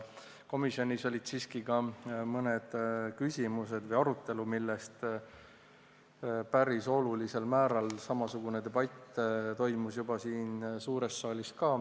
Komisjonis olid siiski ka mõned küsimused või arutelu, millest päris olulisel määral samasugune debatt toimus juba siin suures saalis ka.